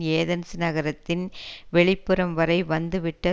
Athens நகரத்தின் வெளிப்புறம் வரை வந்து விட்ட